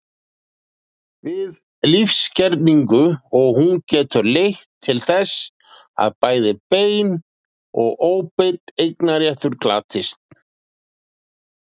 við lífsgerning, og hún getur leitt til þess að bæði beinn og óbeinn eignarréttur glatist.